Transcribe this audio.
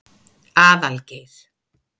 Aðalgeir